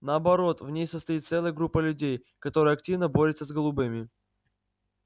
наоборот в ней состоит целая группа людей которая активно борется с голубыми